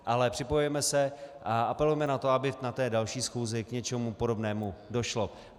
Ale připojujeme se a apelujeme na to, aby na té další schůzi k něčemu podobnému došlo.